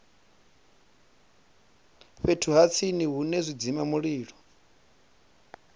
fhethu ha tsini hune zwidzimamulilo